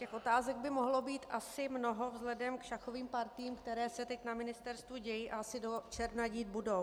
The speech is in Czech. Těch otázek by mohlo být asi mnoho vzhledem k šachovým partiím, které se teď na ministerstvu dějí a asi do června dít budou.